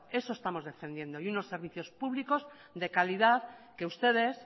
eso estamos defendiendo y unos servicios públicos de calidad que ustedes